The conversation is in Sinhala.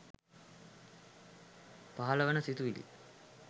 පහළ වන සිතිවිලි